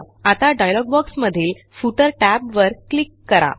आता dialogue box मधील footer टॅबवर क्लिक करा